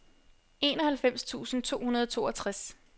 enoghalvfems tusind to hundrede og toogtres